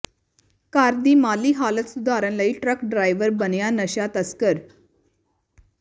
ਘਰ ਦੀ ਮਾਲੀ ਹਾਲਤ ਸੁਧਾਰਨ ਲਈ ਟਰੱਕ ਡਰਾਈਵਰ ਬਣਿਆ ਨਸ਼ਾ ਤਸਕਰ